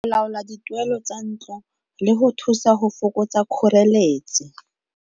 Laola dituelo tsa ntlo le go thusa go fokotsa kgoreletsi.